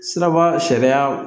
Siraba sariya